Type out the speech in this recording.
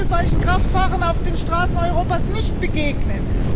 Ich möchte solchen Kraftfahrern auf den Straßen Europas nicht begegnen!